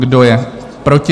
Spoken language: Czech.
Kdo je proti?